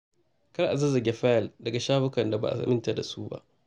Kar a zazzage fayil daga shafukan da ba a aminta da su ba.